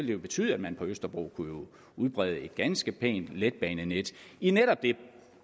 det betyde at man på østerbro kunne udbrede et ganske pænt letbanenet i netop